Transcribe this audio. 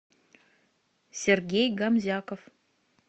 сергей гомзяков